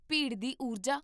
ਭੀੜ ਦੀ ਊਰਜਾ!